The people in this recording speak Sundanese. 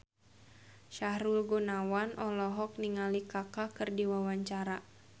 Sahrul Gunawan olohok ningali Kaka keur diwawancara